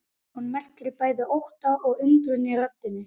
Hún merkir bæði ótta og undrun í röddinni.